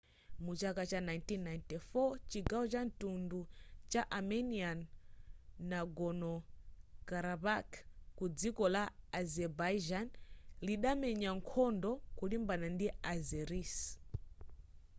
mu chaka cha 1994 chigawo cha mtundu cha armenian nagorno-karabakh ku dziko la azerbaijan lidamenya nkhondo kulimbana ndi azeris